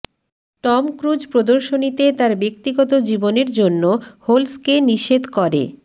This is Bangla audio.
টম ক্রুজ প্রদর্শনীতে তাঁর ব্যক্তিগত জীবনের জন্য হোলসকে নিষেধ করে